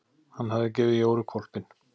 Hann hafði gefið Jóru hvolpinn.